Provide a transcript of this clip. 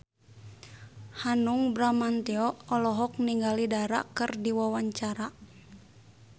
Hanung Bramantyo olohok ningali Dara keur diwawancara